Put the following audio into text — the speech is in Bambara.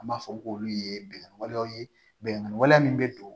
An b'a fɔ k'olu ye bɛnkan walew ye bɛnkan waleya min bɛ don